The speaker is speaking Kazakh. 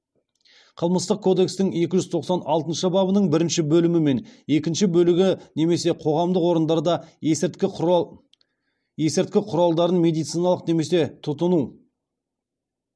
қылмыстық кодекстің екі жүз тоқсан алтыншы бабының бірінші бөлімі мен екінші бөлігі немесе қоғамдық орындарда есірткі құралдарын медициналық немесе тұтыну